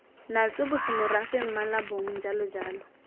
natswe bosemorafe mmala bong jalojalo